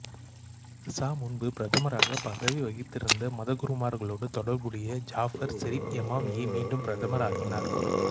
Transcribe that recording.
சா முன்பு பிரதமராகப் பதவி வகித்திருந்த மதகுருமார்களோடு தொடர்புடைய ஜாபர் செரிப்எமாமியை மீண்டும் பிரதமர் ஆக்கினார்